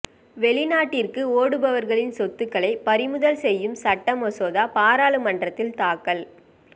வெளிநாட்டிற்கு ஓடுபவர்களின் சொத்துக்களை பறிமுதல் செய்யும் சட்ட மசோதா பாராளுமன்றத்தில் தாக்கல்